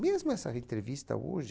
Mesmo essa entrevista hoje...